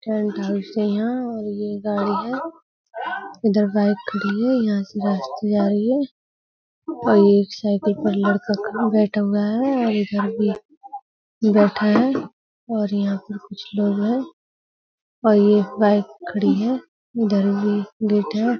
Tent house है यहाँ और ये गाड़ी है। इधर बाइक खड़ी है यहाँ से रास्ता जा रही है और ये एक साइकिल पर लड़का बैठा हुआ है और इधर भी बैठा है और यहाँ पर कुछ लोग हैं और ये बाइक खड़ी है। इधर भी गेट है।